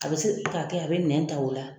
A bɛ se ka kɛ a bɛ nɛn ta o la.